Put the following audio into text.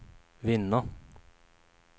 vinna